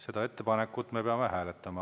Seda ettepanekut me peame hääletama.